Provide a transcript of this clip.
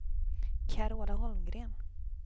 Carola Holmgren